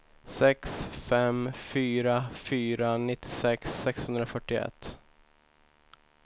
sex fem fyra fyra nittiosex sexhundrafyrtioett